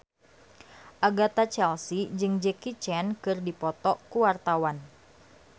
Agatha Chelsea jeung Jackie Chan keur dipoto ku wartawan